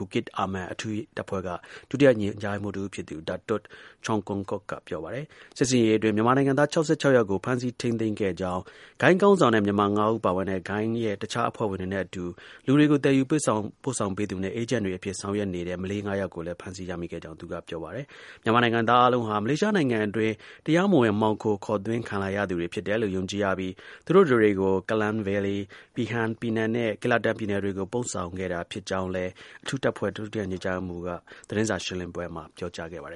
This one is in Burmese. Bukit Aman အထူးတပ်ဖွဲ့က ဒုတိ ညွှန်ကြားရေးမှူးတစ်ဦးဖြစ်သူ Datuk Cheong Koon Kock က ပြောပါတယ်။ စစ်ဆင်ရေးအတွင်း မြန်မာနိုင်ငံသား ၆၆ ယောက်ကို ဖမ်းဆီး ထိန်းသိမ်းခဲ့ကြောင်း၊ ဂိုဏ်း ခေါင်းဆောင်နဲ့ မြန်မာ ၅ ဦး ပါဝင်တဲ့ ဂိုဏ်းရဲ့ တစ်ခြားအဖွဲ့ဝင်တွေနဲအတူ လူတွေကို သယ်ယူပို့ဆောင်ပေးသူနဲ့ အေးဂျင့်တွေအဖြစ် ဆောင်ရွက်နေတဲ့ မလေး ၅ ယောက်ကိုလည်း ဖမ်းဆီးရမိခဲ့ကြောင်းလည်း သူက ပြောပါတယ်။ မြန်မာနိုင်ငံသား အားလုံးဟာ မလေးရှားနိုင်ငံအတွင်း တရားမဝင် မှောင်ခိုခေါ်သွင်းခံလာရသူတွေ ဖြစ်တယ်လို့ ယုံကြည်ရပြီး သူတို့တစ်တွေ ကို Klang Valley, Pahang၊ ပီနန်နဲ့ Kelatan ပြည်နယ်တွေကို ပို့ဆောင်ခဲ့တာဖြစ်ကြောင်းလည်း အထူးတပ်ဖွဲ့ ဒုတိယ ညွှန်ကြားရေးမှူးက Datuk Cheong Koon Kock က သတင်းစာ ရှင်းလင်းပွဲမှာ ပြောခဲ့ပါတယ်